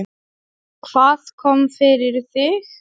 Hvað kom fyrir þig?